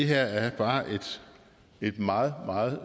her er bare et meget meget